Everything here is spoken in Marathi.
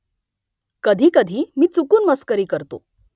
कधीकधी मी चुकून मस्करी करतो